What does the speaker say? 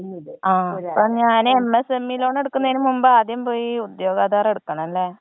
ആ അപ്പൊ ഞാൻ എം എസ ഇ ലോൺ എടുക്കുന്നതിന് മുമ്പ് ആദ്യം പോയി ഉദ്യോഗ ആധാരം എടുക്കണം ലെ?